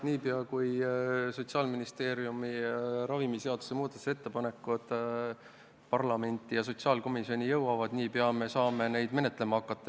Niipea, kui Sotsiaalministeeriumi ravimiseaduse muudatusettepanekud parlamenti ja sotsiaalkomisjoni jõuavad, saame neid menetlema hakata.